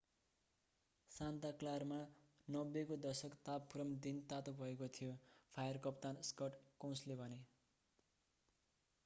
Santa क्लारामा 90 को दशक तापक्रम दिन तातो भएको थियो फायर कप्तान स्कट कोउन्सले भने